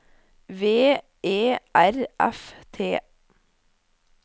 V E R F T